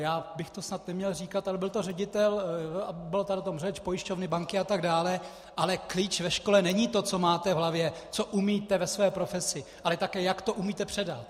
Já bych to snad neměl říkat, ale byl to ředitel, a byla tady o tom řeč, pojišťovny, banky atd., ale klíč ve škole není to, co máte v hlavě, co umíte ve své profesi, ale také jak to umíte předat.